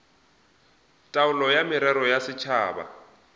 taolo ya merero ya setšhaba